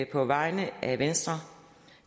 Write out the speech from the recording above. på vegne af venstre